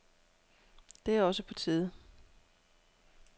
Det er også på tide.